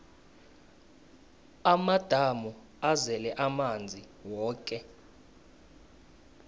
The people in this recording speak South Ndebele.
amadamu azele amanzi woke